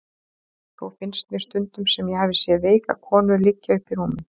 Þó finnst mér stundum sem ég hafi séð veika konu liggja uppi í rúmi.